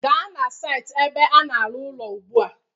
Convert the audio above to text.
Gaa na saịtị ebe a na-arụ ụlọ ugbu a